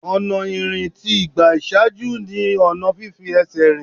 Ọ̀nà ìrìn tí ìgbà ìṣáájú ni fífi ẹsẹ̀ rìn.